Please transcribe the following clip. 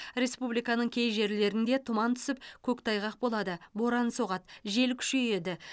республиканың кей жерлерінде тұман түсіп көктайғақ болады боран соғады жел күшейеді